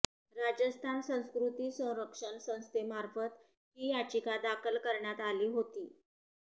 राजस्थान संस्कृती संरक्षण संस्थेमार्फत ही याचिका दाखल करण्यात आली होती